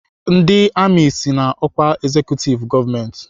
Ndị amị so na ọkwa ezekutiv gọọmentị.